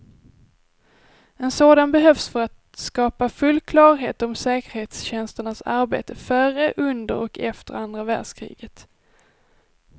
En sådan behövs för att skapa full klarhet om säkerhetstjänsternas arbete före, under och efter andra världskriget.